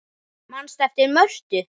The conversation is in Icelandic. Manstu eftir Mörtu?